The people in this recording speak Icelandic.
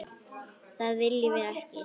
Það viljum við ekki!